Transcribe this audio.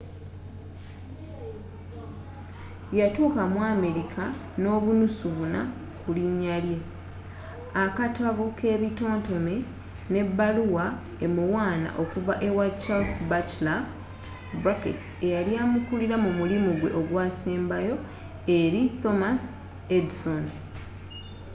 yatuuka mu amerika n'obunusu 4 ku linnya lye akatabo k'ebitontome n'ebbaluwa emuwaana okuva ewa charles batchelor eyali amukulira mu mulimu gwe ogusembayo eri thomas edison